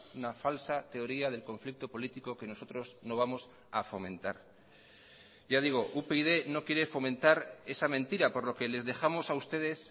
una falsa teoría del conflicto político que nosotros no vamos a fomentar ya digo upyd no quiere fomentar esa mentira por lo que les dejamos a ustedes